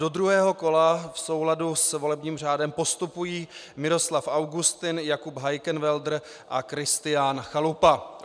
Do druhého kola v souladu s volebním řádem postupují Miroslav Augustin, Jakub Heikenwälder a Kristián Chalupa.